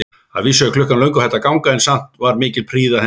Að vísu var klukkan löngu hætt að ganga, en samt var mikil prýði að henni.